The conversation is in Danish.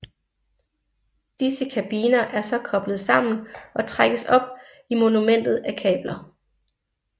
Disse kabiner er så koblet sammen og trækkes op i monumentet af kabler